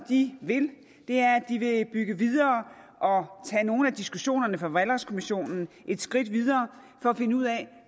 de vil er at bygge videre og tage nogle af diskussionerne fra valgretskommissionen et skridt videre for at finde ud af